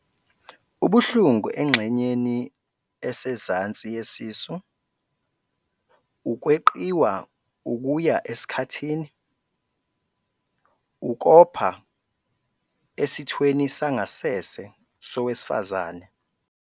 .ubuhlungu engxenyeni esezansi yesisu, ukweqiwa ukuya esikhathini, ukopha esithweni sangasese sowesifazane.